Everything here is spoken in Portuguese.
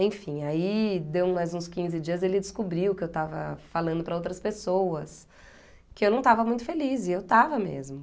Enfim, aí deu mais uns quinze dias e ele descobriu que eu estava falando para outras pessoas que eu não estava muito feliz e eu estava mesmo.